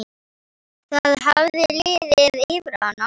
Það hafði liðið yfir hana!